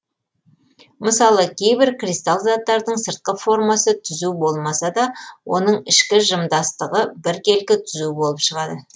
мысалы кейбір кристалл заттардың сыртқы формасы түзу болмаса да оның ішкі жымдастығы біркелкі түзу болып шығады